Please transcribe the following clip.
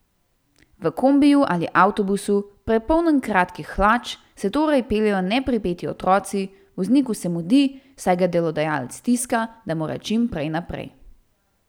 V kombiju ali avtobusu, prepolnem kratkih hlač, se torej peljejo nepripeti otroci, vozniku se mudi, saj ga delodajalec stiska, da mora čim prej naprej.